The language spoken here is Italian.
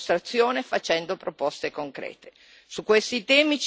Su questi temi ci deve essere un accordo chiaro e preciso.